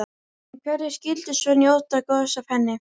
En hverjir skyldu svo njóta góðs af henni?